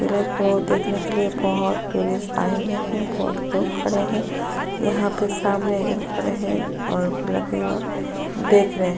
किले को देखने के लिए बोहोत टुरिस्ट आए हुए हैं। बोहोत लोग खड़े हैं। यहाँ पे सामने एक जन खड़े है और किला की ओर देख रहें है।